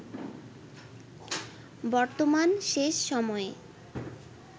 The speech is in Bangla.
বর্তমান শেষ সময়ে